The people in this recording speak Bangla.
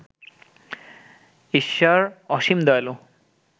ঈশ্বর অসীম দয়ালু